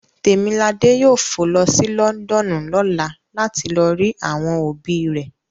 Temilade yoo fo lo si Lọndọnu lọla lati lo ri awọn obi rẹ